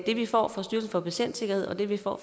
det vi får fra styrelsen for patientsikkerhed og det vi får